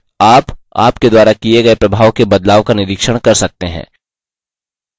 आप आपके द्वारा किये गये प्रभाव के बदलाव का निरीक्षण कर सकते हैं